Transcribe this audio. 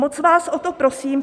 Moc vás o to prosím.